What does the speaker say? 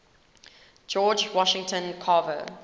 george washington carver